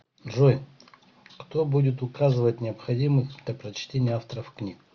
джой кто будет указывать необходимых для прочтения авторов книг